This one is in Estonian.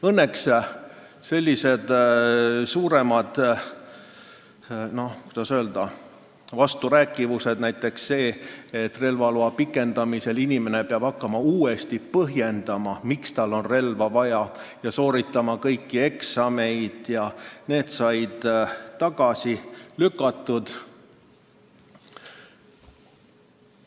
Õnneks sellised ettepanekud, kus olid suuremad, kuidas öelda, vasturääkivused, näiteks see, et relvaloa pikendamisel peab inimene hakkama uuesti põhjendama, miks tal on relva vaja, ja tal tuleb sooritada kõik eksamid, said tagasi lükatud.